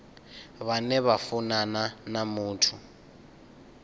vhane vha funana na muthu